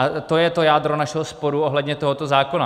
A to je to jádro našeho sporu ohledně tohoto zákona.